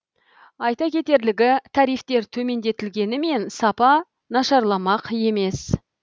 айта кетерлігі тарифтер төмендетілгенімен сапа нашарламақ емес